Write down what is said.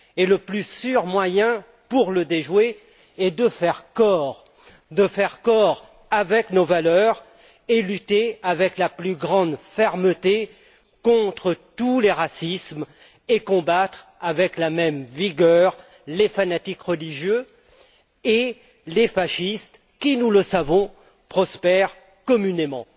Le plus sûr moyen de le déjouer est de faire corps avec nos valeurs, de lutter avec la plus grande fermeté contre tous les racismes et de combattre avec la même vigueur les fanatiques religieux et les fascistes qui, nous le savons, prospèrent communément.